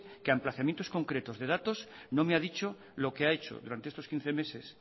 que a emplazamientos concretos de datos no me ha dicho lo que ha hecho durante estos quince meses